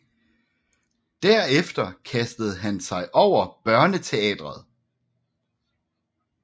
Derefter kastede han sig over børneteatret